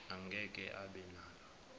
angeke abe nalo